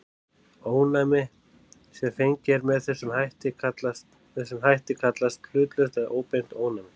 Ónæmi sem fengið er með þessum hætt kallast hlutlaust eða óbeint ónæmi.